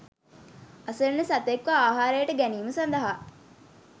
අසරණ සතෙක්ව අහාරයට ගැනීම සදහා